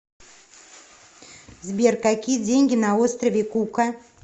сбер какие деньги на острове кука